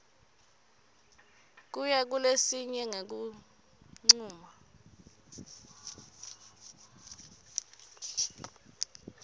kuya kulesinye ngekuncuma